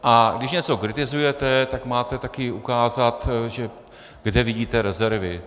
A když něco kritizujete, tak máte taky ukázat, kde vidíte rezervy.